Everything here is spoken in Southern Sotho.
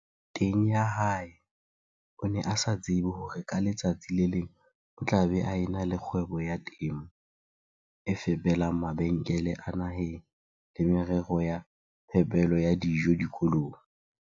teng ya hae o ne a sa tsebe hore ka letsatsi le leng o tla be a e na le kgwebo ya temo e fepelang mabenkele a naheng le merero ya phepelo ya dijo dikolong.